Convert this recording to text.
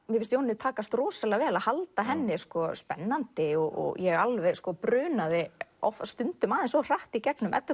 mér finnst Jónínu takast rosalega vel að halda henni spennandi og ég alveg brunaði stundum aðeins of hratt í gegnum Eddu